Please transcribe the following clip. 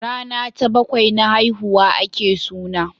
Rana ta bakwai na haihuwa a ke suna